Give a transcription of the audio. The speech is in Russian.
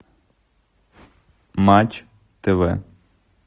матч тв